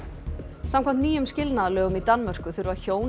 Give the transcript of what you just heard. samkvæmt nýjum skilnaðarlögum í Danmörku þurfa hjón að